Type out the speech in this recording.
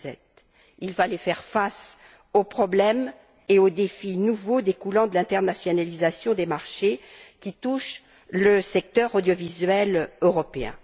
2007. Il fallait faire face aux problèmes et aux défis nouveaux découlant de l'internationalisation des marchés qui touche le secteur audiovisuel européen.